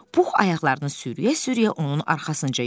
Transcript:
Pux ayaqlarını sürüyə-sürüyə onun arxasınca yollandı.